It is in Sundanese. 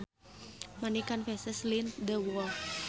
Many canvases lined the wall